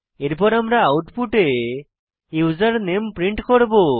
এরপর আমরা আউটপুটে উসের নামে প্রিন্ট করব